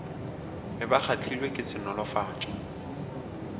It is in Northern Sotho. be ba kgahlilwe ke senolofatša